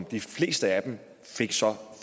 de fleste af dem fik så